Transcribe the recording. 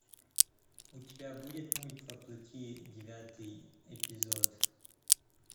у тебя будет мульт во плоти девятый эпизод